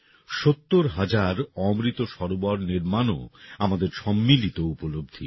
৭০ হাজার অমৃত সরোবর নির্মাণও আমাদের সম্মিলিত উপলব্ধী